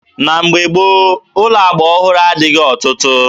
Na mgbe gboo, ụlọ agba ọhụrụ adịghị ọtụtụ.